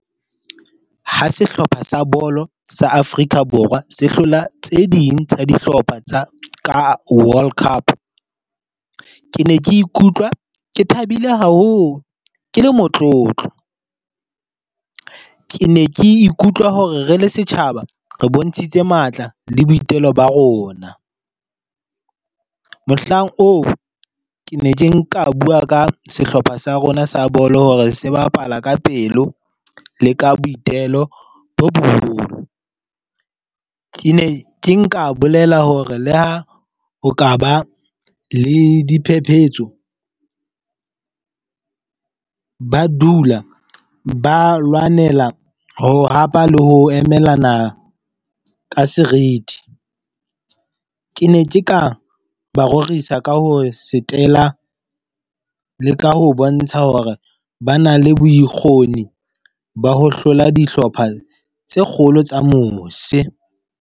Ha sehlopha sa bolo sa Afrika Borwa se hlola tse ding tsa dihlopha tsa ka World Cup. Ke ne ke ikutlwa ke thabile haholo, ke le motlotlo. Ke ne ke ikutlwa hore re le setjhaba re bontshitse matla le boitelo ba rona. Mohlang oo, ke ne ke nka bua ka sehlopha sa rona sa bolo hore se bapala ka pelo, le ka boitelo bo boholo. Ke ne ke nka bolela hore le ha o ka ba le diphephetso, ba dula ba lwanela ho hapa le ho emelana ka serithi. Ke ne ke ka ba rorisa ka ho setela le ka ho bontsha hore ba na le bokgoni ba ho hlola dihlopha tse kgolo tsa mose.